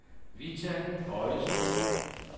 Vita Boysen